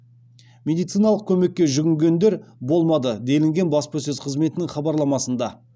медициналық көмекке жүгінгендер болмады делінген баспасөз қызметінің хабарламасында